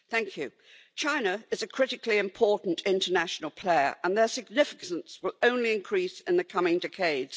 Mr President, China is a critically important international player, and its significance will only increase in the coming decades.